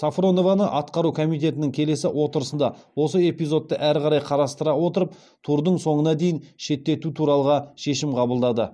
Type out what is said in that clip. сафронованы атқару комитетінің келесі отырысында осы эпизодты әрі қарай қарастыра отырып турдың соңына дейін шеттету туралғы шешім қабылдады